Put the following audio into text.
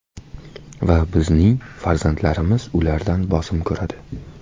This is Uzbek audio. Va bizning farzandlarimiz ulardan bosim ko‘radi”.